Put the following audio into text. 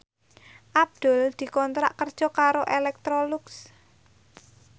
Abdul dikontrak kerja karo Electrolux